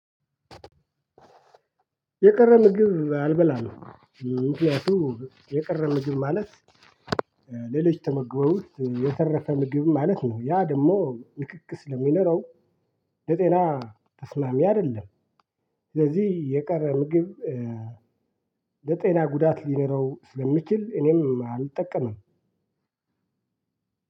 የቀረ ምግብ አልበላም። ምክኒያቱም የቀረ ምግብ ማለት ለልጅ ተመግበው የተረፈ ምግብ ማለት ነው። ያ ደግሞ ንኪኪ ስለሚኖረው ለጤና ተስማሚ አይደለም። ስለዚህ የቀረ ምግብ ለጤና ጉዳት ሊኖረው ስለሚችል እኔም አልጠቀምም።